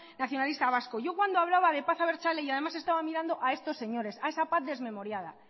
nacionalista vasco yo cuando hablaba de paz abertzale y además estaba mirando a estos señores a esa paz desmemoriada